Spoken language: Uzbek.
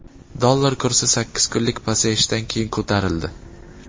Dollar kursi sakkiz kunlik pasayishdan keyin ko‘tarildi.